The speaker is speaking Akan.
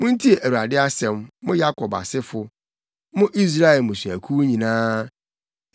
Muntie Awurade asɛm, mo Yakob asefo, mo Israel mmusuakuw nyinaa.